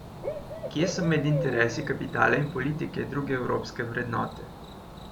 Kje so med interesi kapitala in politike druge evropske vrednote?